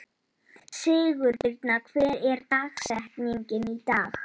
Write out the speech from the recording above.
Sigurbirna, hver er dagsetningin í dag?